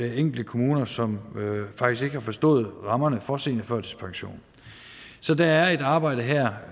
er enkelte kommuner som faktisk ikke har forstået rammerne for seniorførtidspension så der er et arbejde her